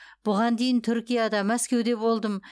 бұған дейін түркияда мәскеуде болдым